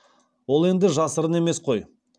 ол енді жасырын емес қой